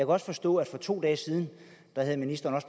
også forstå at for to dage siden havde ministeren